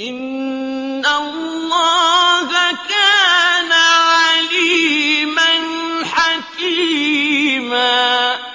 إِنَّ اللَّهَ كَانَ عَلِيمًا حَكِيمًا